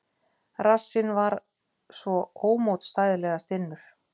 Rassinn svo ómótstæðilega stinnur.